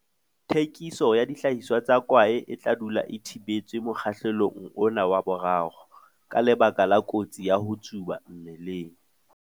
Thekiso ya dihlahiswa tsa kwae e tla dula e thibetswe mokgahlelong ona wa 3, ka lebaka la kotsi ya ho tsuba mmeleng.